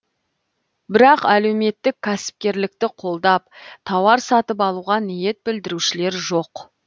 бірақ әлеуметтік кәсіпкерлікті қолдап тауар сатып алуға ниет білдірушілер жоқ